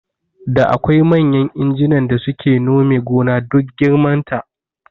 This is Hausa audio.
Da akwai manyan injinan da suke nome gona duk girman ta